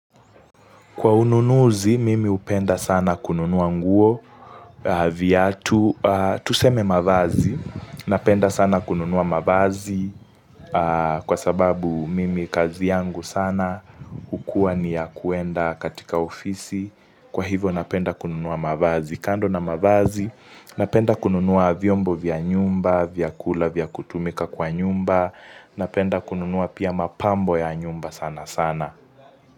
Kwa ununuzi, mimi hupenda sana kununua nguo viatu tuseme mavazi. Napenda sana kununua mavazi kwa sababu mimi kazi yangu sana hukuwa ni ya kuenda katika ofisi. Kwa hivyo napenda kununuwa mavazi. Kando na mavazi, napenda kununua vyombo vya nyumba, vyakula vya kutumika kwa nyumba. Napenda kununuwa pia mapambo ya nyumba sana sana.